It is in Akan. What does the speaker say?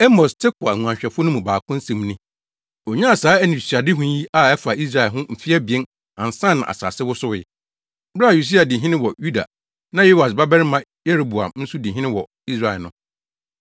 Amos, Tekoa nguanhwɛfo no mu baako nsɛm ni. Onyaa saa anisoadehu yi a ɛfa Israel ho mfe abien ansa na asase wosowee, bere a Usia di hene wɔ Yuda na Yoas babarima Yeroboam nso di hene wɔ Israel no.